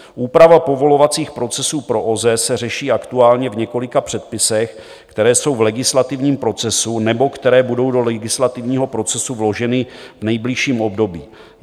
Úprava povolovacích procesů pro OZE se řeší aktuálně v několika předpisech, které jsou v legislativním procesu nebo které budou do legislativního procesu vloženy v nejbližším období.